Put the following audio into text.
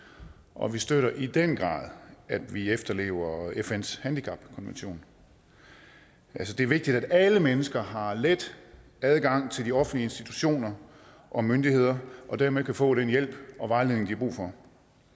og vi støtter i den grad at vi efterlever fns handicapkonvention det er vigtigt at alle mennesker har let adgang til de offentlige institutioner og myndigheder og derved kan få den hjælp og vejledning de har brug for